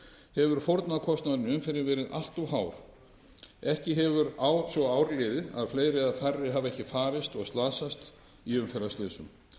hefur fórnarkostnaðurinn í umferðinni verið allt of hár ekki hefur svo ár liðið að fleiri eða færri hafi ekki farist og slasast í umferðarslysum